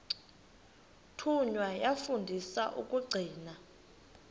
thunywa yafundiswa ukugcina